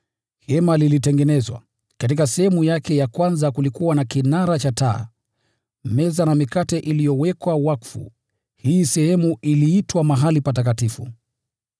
Hema ilitengenezwa. Katika sehemu yake ya kwanza kulikuwa na kinara cha taa, meza na mikate iliyowekwa wakfu; hii sehemu iliitwa Mahali Patakatifu.